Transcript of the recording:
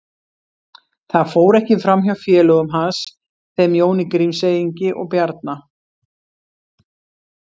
Það fór ekki fram hjá félögum hans, þeim Jóni Grímseyingi og Bjarna